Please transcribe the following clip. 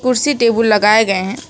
कुर्सी टेबल लगाए गए हैं।